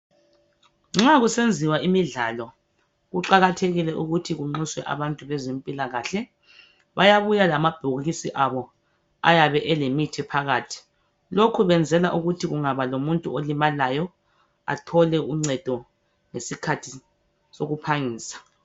Nxa kusenziwa imidlalo kuqakathekile ukuthi kunxuswe abantu bezempilalakahle. Bayabuya lamabhokisi abo ayabe elemithi phakathi . Lokhu kwenzela ukuthi kungaba lomuntu olimalayo athole uncedo ngesikhathi sokuphangisa.